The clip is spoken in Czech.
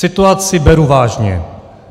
Situaci beru vážně.